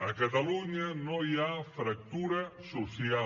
a catalunya no hi ha fractura social